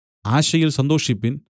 ആശയിൽ സന്തോഷിപ്പിൻ